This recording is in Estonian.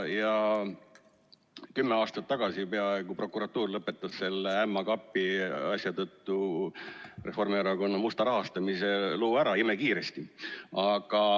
Kümme aastat tagasi lõpetas prokuratuur selle ämma kapi asja tõttu Reformierakonna musta rahastamise loo ära imekiiresti.